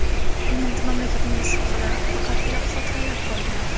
Menda mamlakatingiz haqida faqat iliq xotiralar qolgan.